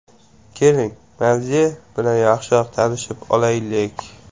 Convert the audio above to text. Keling, mavze bilan yaxshiroq tanishib olaylik!